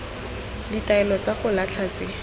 ditaelo tsa go latlha tse